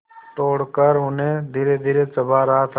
तोड़कर उन्हें धीरेधीरे चबा रहा था